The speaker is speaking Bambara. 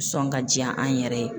Sɔn ka diyan an yɛrɛ ye